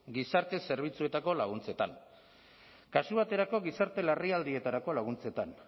gizarte zerbitzuetako laguntzetan kasu baterako gizarte larrialdietarako laguntzetan